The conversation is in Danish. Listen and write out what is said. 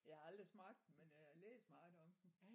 Jeg har aldrig smagt den men øh jeg har læst meget om den